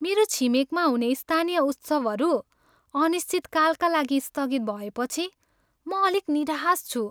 मेरो छिमेकमा हुने स्थानीय उत्सवहरू अनिश्चितकालका लागि स्थगित भएपछि म अलिक निराश छु।